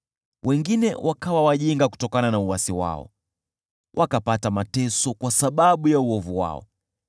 Wengine wakawa wapumbavu kutokana na uasi wao, wakapata mateso kwa sababu ya uovu wao.